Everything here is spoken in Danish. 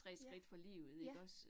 Ja, ja